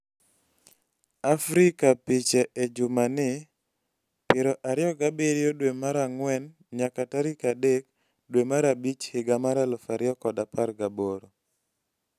Africa piche e juma ni: 27 dwe ma ang'wen nyaka tarik 3 dwe mar abich higa mar 2018